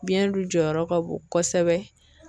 Biɲɛn dun jɔyɔrɔ ka bon kosɛbɛ.